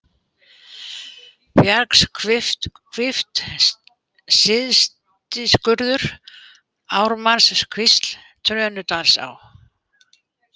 Bjargshvilft, Syðstiskurður, Ármannskvísl, Trönudalsá